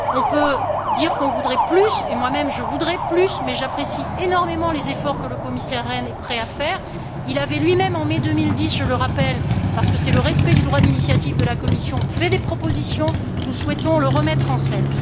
On peut dire qu'on voudrait plus, et moi même je voudrais plus, mais j'apprécie énormément les efforts que le Commissaire Rehn est prêt à faire. Il avait lui même, en mai 2010, je le rappelle, parce qu'il s'agit du respect du droit d'initiative de la Commission, fait des propositions. Nous souhaitons les remettre en